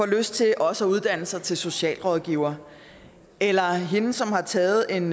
lyst til også at uddanne sig til socialrådgiver eller hende som har taget en